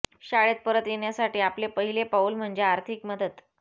शाळेत परत येण्यासाठी आपले पहिले पाऊल म्हणजे आर्थिक मदत